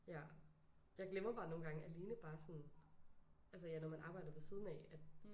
Ja. Jeg glemmer bare nogen gange alene bare sådan altså ja når man arbejder ved siden af